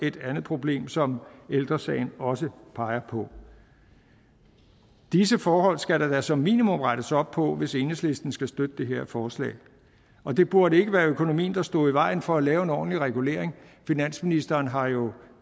et andet problem som ældre sagen også peger på disse forhold skal der som minimum rettes op på hvis enhedslisten skal støtte det her forslag og det burde ikke være økonomien der står i vejen for at lave en ordentlig regulering finansministeren har jo